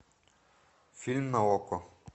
фильм на окко